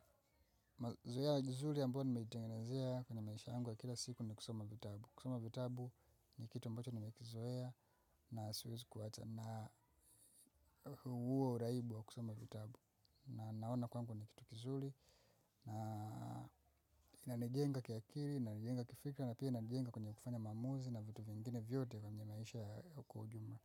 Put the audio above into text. Zoea jizuli ambayo nimeitengenezea kwenye maisha yangu ya kila siku ni kusoma vitabu. Kusoma vitabu ni kitu ambacho nimekizoea na siwezi kuacha na huwa uraibu wa kusoma vitabu. Na naona kwangu ni kitu kizuli na inanijenga kiakiri, inanijenga kifikra na pia inanijenga kwenye kufanya maamuzi na vitu vingine vyote kwenye maisha ya kwa ujumla.